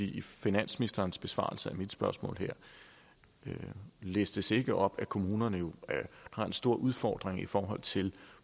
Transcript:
i finansministerens besvarelse af mit spørgsmål her listes det ikke op at kommunerne jo har en stor udfordring i forhold til